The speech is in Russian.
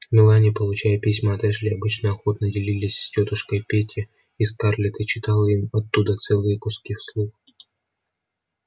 мелани получая письма от эшли обычно охотно делились с тётушкой питти и скарлетт и читала им оттуда целые куски вслух